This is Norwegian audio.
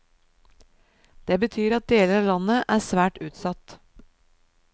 Det betyr at deler av landet er svært utsatt.